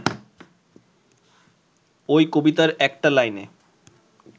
ওই কবিতার একটা লাইনে